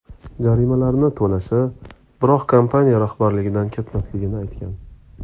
Jarimalarni to‘lashi, biroq kompaniya rahbarligidan ketmasligini aytgan.